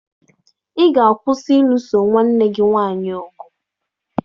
Ị ga-akwụsị ịlụso nwanne gị nwaanyị ọgụ!